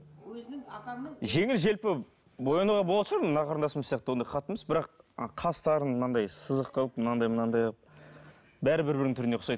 өзінің апаңның жеңіл желпі боянауға болатын шығар мына қарындасымыз сияқты ондай қатты емес ы бірақ қастарын мынандай сызық қылып мынандай мынандай қылып бәрі бір бірінің түріне ұқсайды